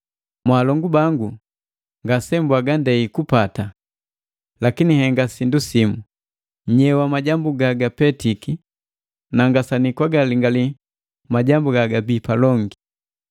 Mwaalongu bangu, ngasembwaga ndei kupata. Lakini nhenga sindu simu, nyewa majambu gagapetiki, na ngasanii kwagalingali gagabii palongi.